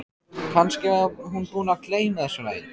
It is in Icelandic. Kannski var hún búin að gleyma þessu lagi.